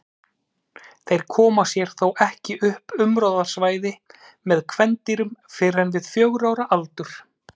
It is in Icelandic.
Þeir koma sér þó ekki upp umráðasvæði með kvendýrum fyrr en við fjögurra ára aldur.